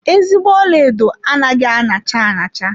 Ezigbo ọlaedo anaghị aṅacha aṅacha.